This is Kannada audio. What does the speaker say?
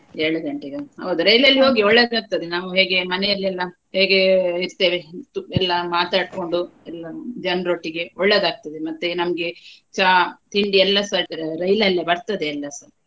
ಏಳು ಗಂಟೆಗಾ? ಹೌದು ರೈಲಲ್ಲಿ ಒಳ್ಳೇದಾಗ್ತದೆ. ನಾವು ಹೇಗೆ ಮನೆಯಲ್ಲೆಲ್ಲಾ ಹೇಗೆ ಇರ್ತೆವೆ ಎಲ್ಲಾ ಮಾತಾಡ್ಕೊಂಡು ಎಲ್ಲಾ ಜನರೊಟ್ಟಿಗೆ ಒಳ್ಳೇದಾಗ್ತದೆ. ಮತ್ತೆ ನಮ್ಗೆ ಚಾ, ತಿಂಡಿ ಎಲ್ಲಾಸ ರೈಲಲ್ಲೆ ಬರ್ತದೆ ಎಲ್ಲಸ.